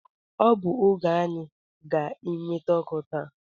Ọ bụ oge anyị ga enweta ọkụ taa